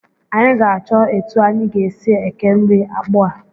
Anyị ga-achọ etu anyị ga-esi eke nri akpụ a